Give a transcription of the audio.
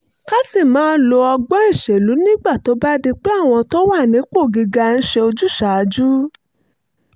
ká sì máa lo ọgbọ́n ìṣèlú nígbà tó bá di pé àwọn tó wà nípò gíga ń ṣe ojúsàájú